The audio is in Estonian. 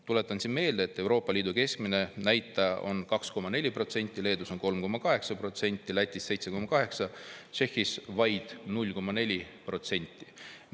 Tuletan meelde, et Euroopa Liidu keskmine näitaja on 2,4%, Leedus on 3,8%, Lätis 7,8%, Tšehhis vaid 0,4%.